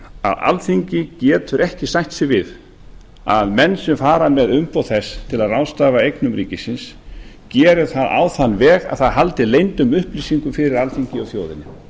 að alþingi getur ekki sætt sig við að menn sem fara með umboð þess til að ráðstafa eignum ríkisins geri það á þann veg að það haldi leyndum upplýsingum fyrir alþingi og þjóðinni